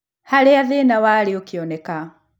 Harĩa thĩna warĩ ũkĩoneka